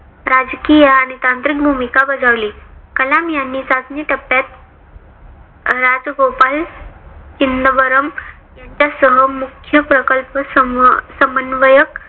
राजकीय आणि तांत्रिक भूमिका बजावली. कलाम यांनी चाचणी टप्प्यात राज गोपाल इनंवरम यांच्या सह मुख्य प्रकल्प सम समन्वयक